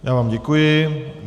Já vám děkuji.